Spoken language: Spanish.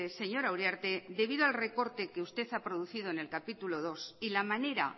señora uriarte debido al recorte que usted ha producido en el capítulo segundo y la manera